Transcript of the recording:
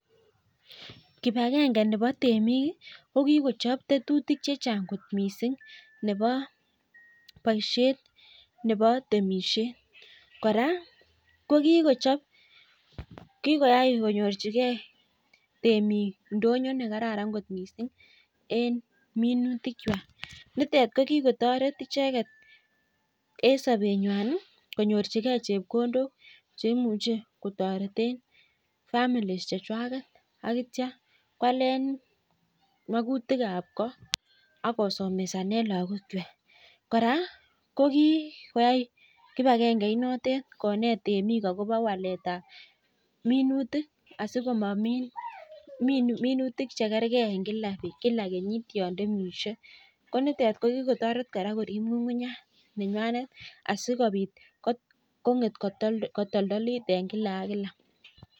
Kibagenge Nebo temik kokikochab tetutik chechang kot mising Nebo baishet Nebo temishet koraa kokikichob kikoyai konyorchigei temik ndonyo nekararan kot mising en minutik chwak ak kikotaret icheket en sabenywan konyorchigei chepkondok cheimuche kotaretin famili chechwaket ak kitya kwalen makutik ab kot ak kosomeshanen lagok chwak koraa kikoyai kibagenge inotet konet temik akobo walet ab minutik asikomin minutik chekergei en kila kenyit yantemishe konitet kokikotaret korib ngungunyat nenywanet asikobit konget kotoldolit en kila ak kila